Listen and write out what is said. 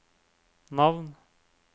navn